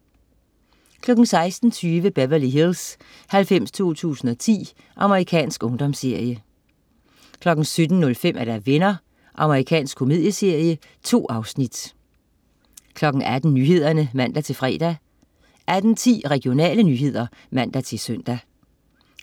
16.20 Beverly Hills 90210. Amerikansk ungdomsserie 17.05 Venner. Amerikansk komedieserie. 2 afsnit 18.00 Nyhederne (man-fre) 18.10 Regionale nyheder (man-søn)